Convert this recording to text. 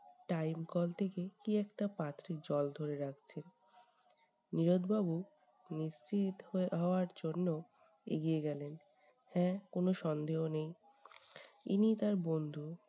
time কল থেকে কী একটা পাত্রে জল তুলে রাখছেন। নীরদ বাবু নিশ্চিত হয়ে হওয়ার জন্য এগিয়ে গেলেন। হ্যা কোন সন্দেহ নেই ইনিই তার বন্ধু।